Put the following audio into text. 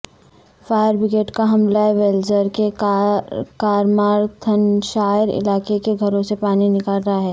fire brigade کا عملہ Wales کے کارمارتھنشائر علاقے کے گھروں سے پانی نکال رہا ہے